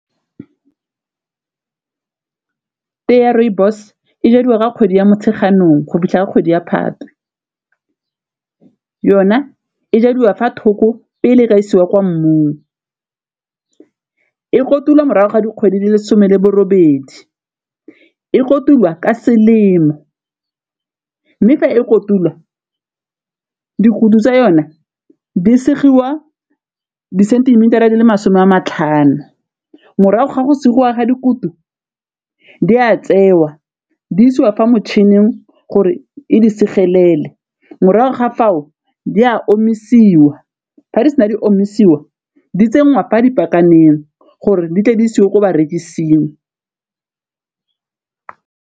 Tee ya rooibos e jadiwa ka kgwedi ya Motsheganong go fitlha ka kgwedi ya Phatwe, yona e jadiwa fa thoko pele ka isiwa kwa mmung e kotulwa morago ga dikgwedi di le some le bo robedi, e kotulwa ka selemo mme fa e kotulwa dikuto tsa yone di segiwa disentimitara di le masome a matlhano, morago ga go segiwa ga dikutu di a tsewa di isiwa fa motšhining gore e di segelele, morago ga fao di a omisiwa ga di sena di omisiwa di tse ngwana a dipakaneng gore di tle di isiwe ko barekising.